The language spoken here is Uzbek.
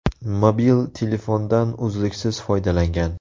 Mobil telefondan uzluksiz foydalangan.